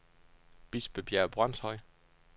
Bispebjerg Brønshøj